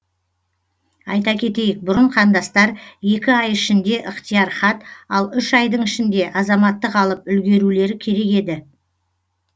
айта кетейік бұрын қандастар екі ай ішінде ықтияр хат ал үш айдың ішінде азаматтық алып үлгерулері керек еді